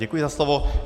Děkuji za slovo.